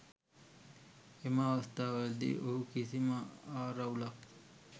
එම අවස්ථාවලදී ඔහු කිසිම ආරවුලක්